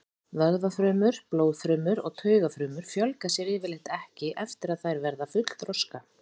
Vöðvafrumur, blóðfrumur og taugafrumur fjölga sér yfirleitt ekki eftir að þær verða fullþroska.